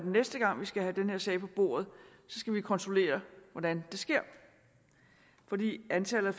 næste gang vi skal have den her sag på bordet kontrollere hvordan det sker fordi antallet af